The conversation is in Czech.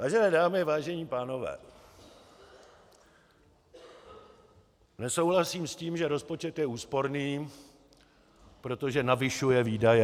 Vážené dámy, vážení pánové, nesouhlasím s tím, že rozpočet je úsporný, protože navyšuje výdaje.